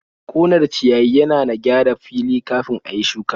Ƙunar ciyayi yana na gyara fili kafin a yi shuka.